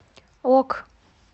ок